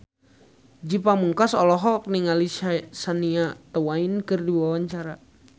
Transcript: Ge Pamungkas olohok ningali Shania Twain keur diwawancara